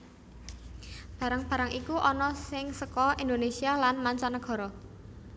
Barang barang iku ana sing seka Indonesia lan manca nagara